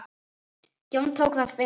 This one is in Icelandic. Jón tók það að sér.